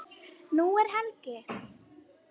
Nú er helgi.